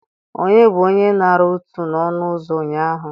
Onye bụ onye nara ụtụ n'ọnụ ụzọ ụnyaahụ?